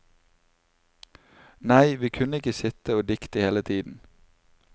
Nei, vi kunne ikke sitte og dikte hele tiden.